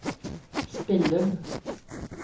Spillum